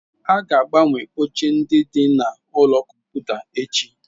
A ga-agbanwe oche ndị dị na ụlọ kọmputa echi.